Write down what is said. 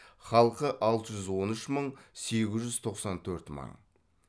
халқы алты жүз он үш мың сегіз жүз тоқсан төрт мың